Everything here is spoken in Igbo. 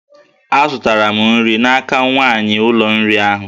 Azụtara m nri n'aka nwanyị ụlọ nri ahu